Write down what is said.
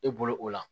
E bolo o la